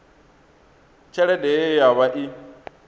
tshelede ye ya vha i